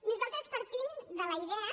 nosaltres partim de la idea